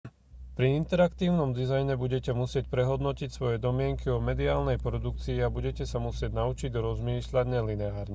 pri interaktívnom dizajne budete musieť prehodnotiť svoje domnienky o mediálnej produkcii a budete sa musieť naučiť rozmýšľať nelineárne